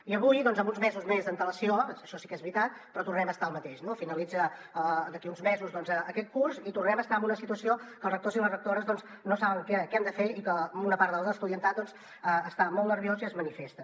i avui amb uns mesos més d’antelació això sí que és veritat però tornem a estar al mateix no finalitza d’aquí a uns mesos aquest curs i tornem a estar en una situació que els rectors i les rectores no saben què han de fer i que una part de l’estudiantat doncs està molt nerviós i es manifesten